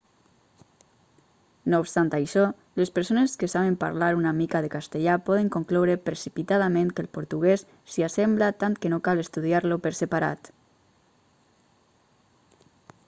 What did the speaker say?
no obstant això les persones que saben parlar una mica de castellà poden concloure precipitadament que el portuguès s'hi assembla tant que no cal estudiar-lo per separat